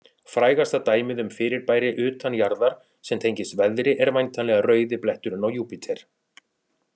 Frægasta dæmið um fyrirbæri utan jarðar sem tengist veðri er væntanlega rauði bletturinn á Júpíter.